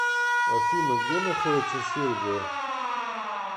афина где находится сербия